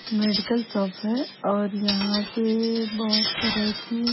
medical shop है और यहां पे बहुत तरह की--